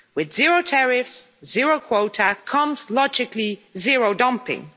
With zero tariffs, zero quotas, comes logically zero dumping.